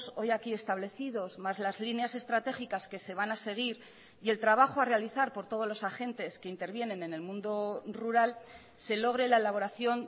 hoy aquí establecidos más las líneas estratégicas que se van a seguir y el trabajo a realizar por todos los agentes que intervienen en el mundo rural se logre la elaboración